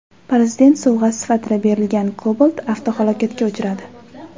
Prezident sovg‘asi sifatida berilgan Cobalt avtohalokatga uchradi .